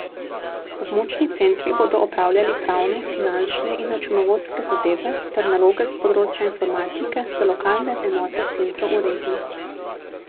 Območni centri bodo opravljali pravne, finančne in računovodske zadeve ter naloge s področja informatike za lokalne enote centrov v regiji.